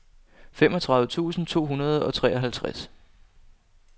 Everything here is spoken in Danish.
femogtredive tusind to hundrede og treoghalvtreds